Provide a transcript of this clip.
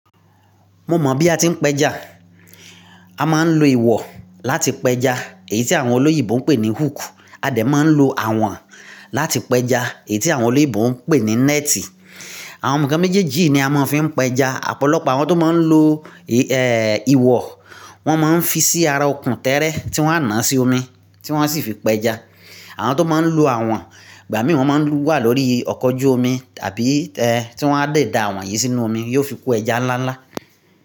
Mo mọ̀ bí a ti ń pẹja. A máa ń lo ìwọ̀ láti pẹja èyí tí àwọn olóyìnbó ń pè ní hook, a dẹ̀ máa ń lo àwọ̀n láti pẹja èyí tí àwọn olóyìnbó ń pè ní néti. Àwọn nǹkan méjèèjì yí ni a máa ń fi pẹja. Ọ̀pọ̀lọpọ̀ àwọn tó máa ń lo, ìwọ̀, wọ́n máa ń fi sí ara okùn tẹ́ẹ́rẹ́ tí wọ́n á náà sí omi tí wọ́n sì fi pẹja. Àwọn tó máa ń lo àwọ̀n, ìgbà mìí wọ́n máa ń wà lórí ọkọ́ ojú omi tàbí, tí wọ́n á dẹ̀ da àwọn yìí sínú omi, yóò fi kó ẹja ńlá ńlá.